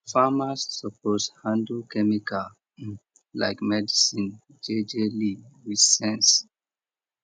farmers suppose handle chemical um like medicine jejely with sense